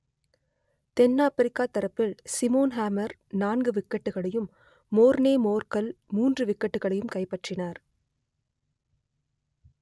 தென் Africa தரப்பில் Simon Harmer நான்கு விக்கெட்டுகளையும் மோர்னே மோர்கல் மூன்று விக்கெட்டுகளையும் கைப்பற்றினர்